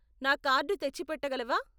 నా కార్డు తెచ్చిపెట్ట గలవా?